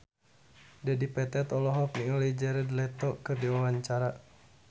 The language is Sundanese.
Dedi Petet olohok ningali Jared Leto keur diwawancara